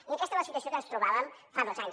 i aquesta és la situació en què ens trobàvem fa dos anys